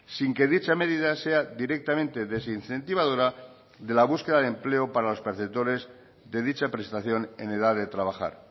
sin que dicha medida sea directamente desincentivadora de la búsqueda de empleo para los perceptores de dicha prestación en edad de trabajar